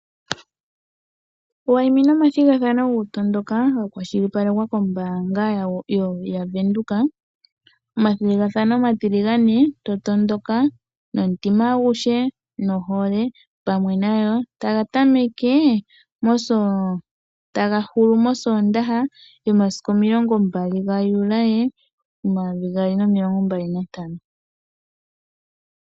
Wayimina oma thigathano goku tondoka ga kwashili palekwa kOmbaanga yaVenduka. Omathigathano omatiligane, to tondoka nomutima aguhe, nohole pamwe nayo. Taga hulu mOsoondaha yomasiku omilongo mbali ga Juli, momayovi gaali nomilongo mbali nantano.